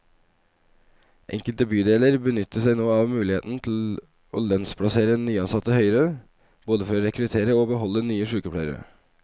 Enkelte bydeler benytter seg nå av muligheten til å lønnsplassere nyansatte høyere, både for å rekruttere og beholde nye sykepleiere.